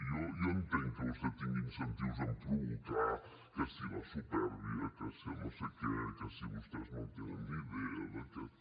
jo entenc que vostè tingui incentius en provocar que si la supèrbia que si el no sé què que si vostès no en tenen ni idea d’aquest